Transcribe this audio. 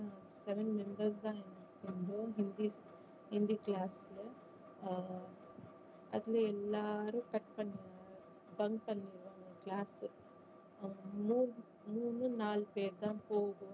seven members தான் இருந்தாங்க Hindi Hindi class ல ஆஹ் அதுல எல்லாரும் cut பண்ணிருவாங்க bunk பண்ணிருவாங்க class அவ்ளோ மூணு நாலு பேரு தான் போவோம்.